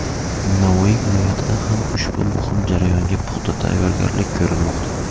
Navoiy viloyatida ham ushbu muhim jarayonga puxta tayyorgarlik ko‘rilmoqda.